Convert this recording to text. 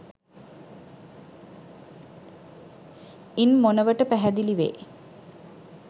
ඉන් මොනවට පැහැදිලි වේ.